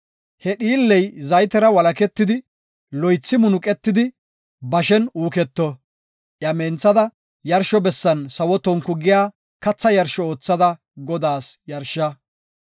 He dhiilley zaytera walaketidi loythi munuqetidi bashen uuketo; iya menthada yarsho bessan sawo tonku giya katha yarsho oothada Godaas yarsha.